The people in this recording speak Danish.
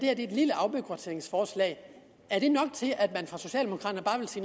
er et lille afbureaukratiseringsforslag er nok til at man fra socialdemokraternes